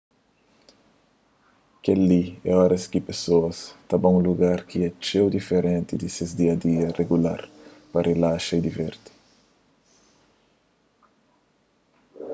kel-li é oras ki pesoas ta ba un lugar ki é txeu diferenti di ses dia a dia rigular pa rilaxa y divirti